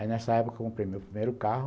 Aí nessa época eu comprei meu primeiro carro,